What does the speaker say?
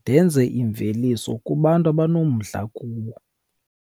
ndenze imveliso kubantu abanomdla kuwo.